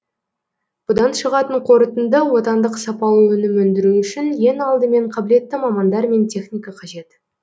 бұдан шығатын қортынды отандық сапалы өнім өндіру үшін ең алдымен қабілетті мамандар мен техника қажет